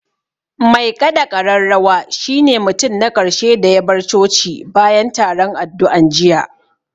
Mai ƙaɗa ƙararrawa shi ne mutum na ƙarshe da ya bar coci bayan taron addu'an jiya